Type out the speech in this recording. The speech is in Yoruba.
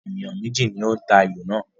Ènìyàn méjì ni ó ń ta ayò náà